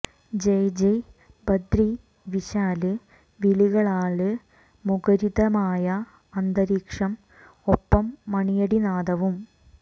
ജയ് ജയ് ബദ്രി വിശാല് വിളികളാല് മുഖരിതമായ അന്തരീക്ഷം ഒപ്പം മണിയടിനാദവും